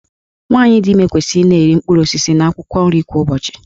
Nwaanyị dị ime kwesịrị ị na-eri mkpụrụ osisi na akwụkwọ nri kwa ụbọchị.